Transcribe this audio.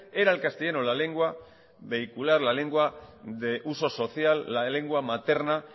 era el castellano la lengua vehicular la lengua de uso social la lengua materna